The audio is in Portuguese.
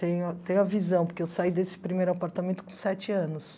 Tenho tenho a visão, porque eu saí desse primeiro apartamento com sete anos.